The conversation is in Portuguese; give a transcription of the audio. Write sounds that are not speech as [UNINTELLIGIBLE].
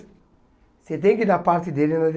Você tem que dar parte dele. [UNINTELLIGIBLE]